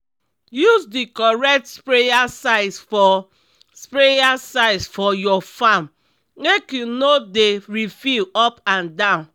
use the correct sprayer size for sprayer size for your farm make you no dey refill up and down.